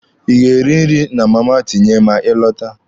Ị ga-eri nri na Mama Tinye ma ị lọta?